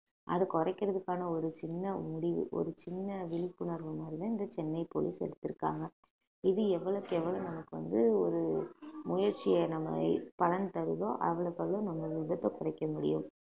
அது குறைக்கிறதுக்கான ஒரு சின்ன முடிவு ஒரு சின்ன விழிப்புணர்வு மாதிரிதான் இந்த சென்னை போலீஸ் எடுத்திருக்காங்க இது எவ்வளவுக்கு எவ்வளவு நமக்கு வந்து ஒரு முயற்சியை நம்ம பலன் தருதோ அவ்வளவுக்கு அவ்வளவு நம்ம விபத்தை குறைக்க முடியும்